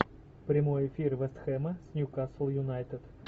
прямой эфир вест хэма с ньюкасл юнайтед